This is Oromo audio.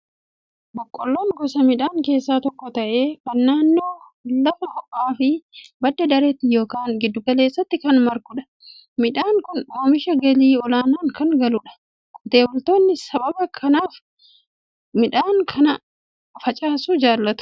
Boqqolloon gosa midhaan keessaa tokko ta'ee, kan naannoo lafa ho'aa fi badda-dareetti yookiin giddugaleessaatti kan margudha. Midhaan kun oomisha galii olaanaan kan galudha. Qotee bultoonni sababii kanaaf midhaan kana facaasuu jaalatu.